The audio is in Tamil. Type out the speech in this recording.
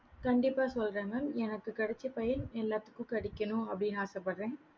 கண்டிப்பா சொல்லுறேன் mam எனக்கு கிடைச்ச பயன் எல்லாருக்கும் கிடைக்கணும் அப்படின்னு ஆசை படுறேன்